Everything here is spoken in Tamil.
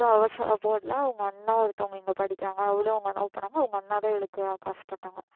அதுவும் அவ சொ~ போடல அவங்க அண்ணா ஒருத்தவங்க இங்க படிக்கிறாங்க அவளும் அவங்க அண்ணாவும் போனாங்க அவங்க அண்ணாதான் இவளுக்கு காசு போட்டாங்க